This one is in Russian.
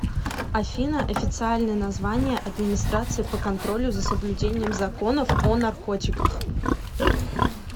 афина официальное название администрация по контролю за соблюдением законов о наркотиках